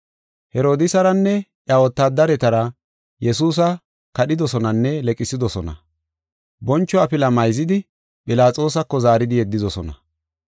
Herodiisaranne iya wotaadaretara Yesuusa kadhidosonanne leqsidosona. Boncho afila mayzidi Philaxoosako zaaridi yeddidosona.